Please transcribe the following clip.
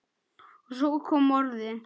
Og svo kom orðið